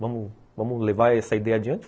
Vamos vamos levar essa ideia adiante?